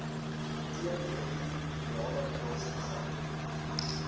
teenretrovirale middels begin